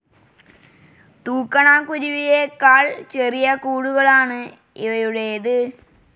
തൂക്കണാം കുരുവിയേക്കാൾ ചെറിയ കൂടുകളാണ് ഇവയുടേത്.